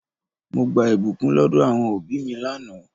Mo gba ìbùkún lọdọ àwọn òbí mi lánàá.